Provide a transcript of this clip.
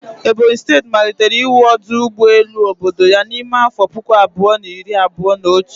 Ebonyi steeti malitere iwu ọdụ ụgbọ elu obodo ya n'ime afọ puku abụọ na iri abụọ na otu